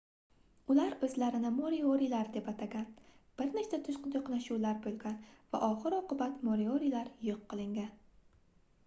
ular oʻzlarini moriorilar deb atagan bir nechta toʻqnashuvlar boʻlgan va oxir-oqibat moriorilar yoʻq qilingan